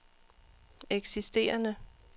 eksisterende